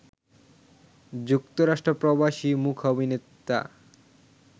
যুক্তরাষ্ট্র প্রবাসী মূকাভিনেতা